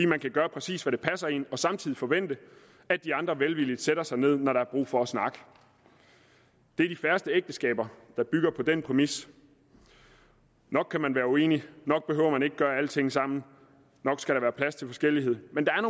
man kan gøre præcis hvad der passer en og samtidig forvente at de andre velvilligt sætter sig ned når der er brug for at snakke det er de færreste ægteskaber der bygger på den præmis nok kan man være uenig nok behøver man ikke at gøre alting sammen nok skal der være plads til forskellighed men